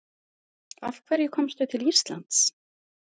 Af hverju komstu til Íslands?